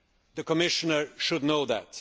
The Commissioner should know that.